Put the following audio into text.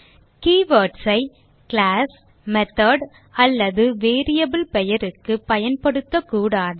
keywords ஐ class method அல்லது variable பெயருக்கு பயன்படுத்தக் கூடாது